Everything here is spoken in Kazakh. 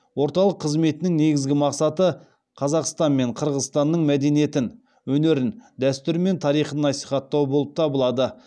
орталық қызметінің негізгі мақсаты қазақстан мен қырғызстанның мәдениетін өнерін дәстүрі мен тарихын насихаттау болып табылады